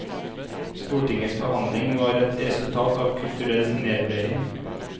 Stortingets behandling var et resultat av kulturell nedvurdering.